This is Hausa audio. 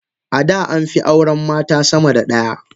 Ada amfi auren mata sama da daya.